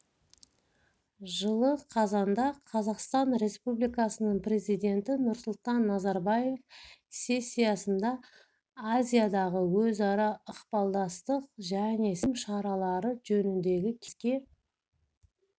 жылы қазанда қазақстан республикасының президенті нұрсұлтан назарбаев сессиясында азиядағы өзара ықпалдастық және сенім шаралары жөніндегі кеңеске